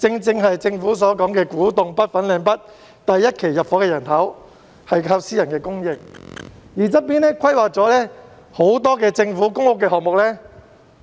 政府所說的古洞北/粉嶺北第一期入伙的居民，正正屬於私人住宅發展項目，而旁邊規劃了很多政府的公屋項目。